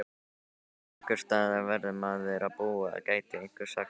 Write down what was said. En einhversstaðar verður maðurinn að búa gæti einhver sagt?